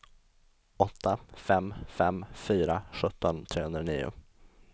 åtta fem fem fyra sjutton trehundranio